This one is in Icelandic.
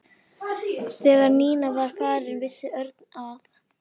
Þegar Nína var farin hvíslaði Örn að